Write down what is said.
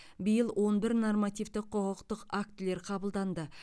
биыл он бір нормативтік құқықтық актілер қабылданды